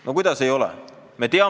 No kuidas ei ole?